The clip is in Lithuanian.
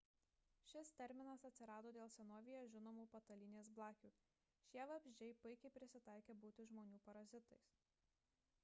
šis terminas atsirado dėl senovėje žinomų patalynės blakių – šie vabzdžiai puikiai prisitaikę būti žmonių parazitais